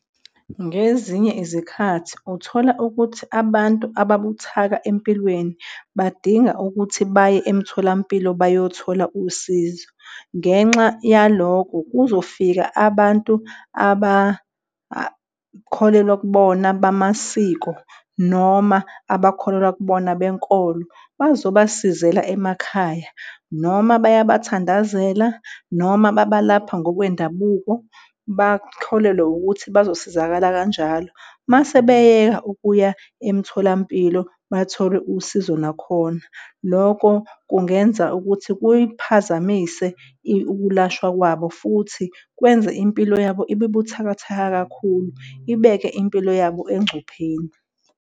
Ngezinye izikhathi uthola ukuthi abantu ababuthaka empilweni badinga ukuthi baye emitholampilo bayothola usizo. Ngenxa yalokho kuzofika abantu abakholelwa kubona bamasiko noma abakholelwa kubona benkolo bazobasizela emakhaya noma bayabathandazela noma babalapha ngokwendabuko bakholelwe ukuthi bazosizakala kanjalo. Mase beyeka ukuya emtholampilo bathole usizo, nakhona loko kungenza ukuthi kuyiphazamise ukulashwa kwabo futhi kwenze impilo yabo ibe buthakathaka kakhulu ibeke impilo yabo engcupheni.